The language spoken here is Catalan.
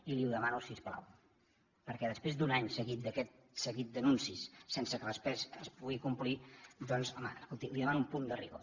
i li ho demano si us plau perquè després d’un any seguit d’aquest seguit d’anuncis sense que després es puguin complir doncs home li demano un punt de rigor